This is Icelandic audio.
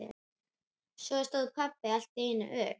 Svo stóð pabbi allt í einu upp.